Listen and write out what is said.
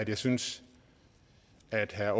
jeg synes at herre